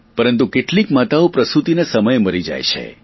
પરંતુ કેટલીક માતાઓ પ્રસુતિના સમયે મરી જાય છે